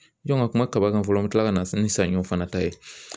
jɔ n ka kuma kaba kan fɔlɔ an bɛ tila ka na se ni saɲɔ fana ta ye